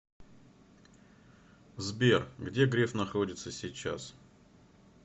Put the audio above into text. сбер где греф находится сейчас